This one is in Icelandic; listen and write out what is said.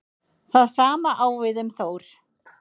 Það sama á við um Þór.